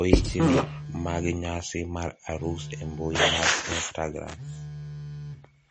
oichni mag nyasi mar arus e mbui mar istagram